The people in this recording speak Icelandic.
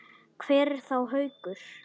Hvar er þá Haukur?